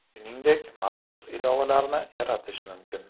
Shuningdek, maxsus ilovalarni yaratish mumkin.